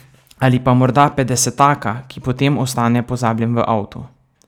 Ali pa morda petdesetaka, ki potem ostane pozabljen v avtu.